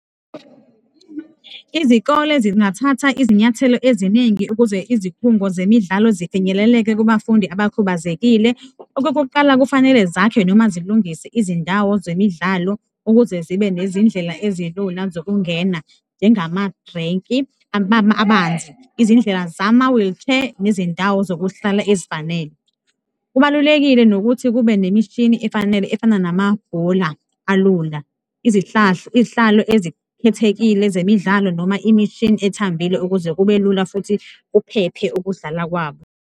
Izikole zingathatha izinyathelo eziningi ukuze izikhungo zemidlalo zifinyeleleke kubafundi abakhubazekile. Okokuqala, kufanele zakhe noma zilungise izindawo zemidlalo ukuze zibe nezindlela ezilula zokungena, njengamadrinki, amanzi, izindlela zama-wheelchair nezindawo zokuhlala ezifanele. Kubalulekile nokuthi kube nemishini efanele efana namabhola alula, izihlalo ezikhethekile zemidlalo noma imishini ethambile ukuze kube lula futhi kuphephe ukudlala kwabo.